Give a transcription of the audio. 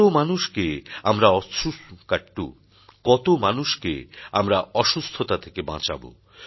কত মানুষকে আমরা অসুস্থতা থেকে বাঁচাবো